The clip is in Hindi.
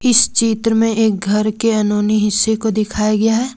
इस चित्र में एक घर के अनहोनी हिस्से को दिखाया गया है।